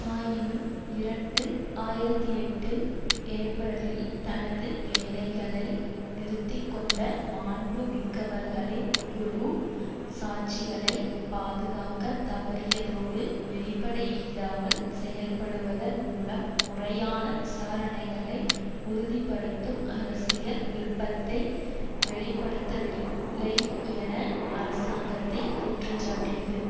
ஆயினும் இரண்டு ஆயிரத்தி எட்டு ஏப்பிரலில் தனது வேலைகளை நிறுத்திக்கொண்ட மாண்பு மிக்கவர்களின் குழு சாட்சிகளை பாதுகாக்கத் தவறியதோடு வெளிப்படையில்லாமல் செயல்படுவதன் மூலம் முறையான விசாரணைகளை உறுதி படுத்தும் அரசியல் விருப்பத்தை வெளிப்படுத்தவில்லை என அரசாங்கத்தை குற்றஞ்சாட்டியது